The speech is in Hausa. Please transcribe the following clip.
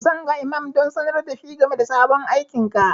Zan ga imam don sanar da shi game da sabon aikinka.